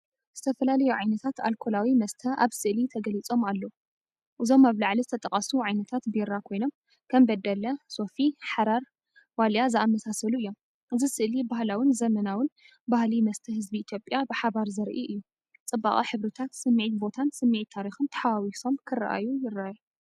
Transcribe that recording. ዝተፈላለዩ ዓይነታት ኣልኮላዊ መስተ ኣብ ስእሊ ተገሊጾም ኣለዉ። እዞም ኣብ ላዕሊ ዝተጠቕሱ ዓይነታት ቢራ ኮይኖም፡ ከም"በደለ"፡"ሶፊ" "ሓራር"፡"ዋልያ"፡ዝኣመሳሳሉ እዮም። እዚ ስእሊ ባህላውን ዘመናውን ባህሊ መስተ ህዝቢ ኢትዮጵያ ብሓባር ዘርኢ እዩ። ጽባቐ ሕብርታት፡ ስምዒት ቦታን ስምዒት ታሪኽን ተሓዋዊሶም ክረኣዩ ይረኣዩ።